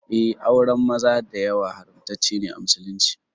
Eh, auren maza da yawa haramtaccene a musulunci.